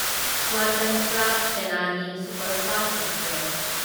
Swatantrata Senani superfast express